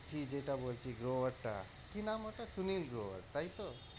গউত্থি যেটা বলছি গ্লোবার টা কি নাম ওটা সুনীল গ্লোবার তাইতো?